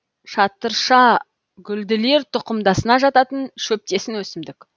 шатыршагүлділер тұқымдасына жататын шөптесін өсімдік